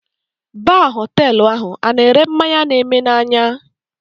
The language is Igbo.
Baa Họtelụ ahụ ana ere mmanya na eme na anya?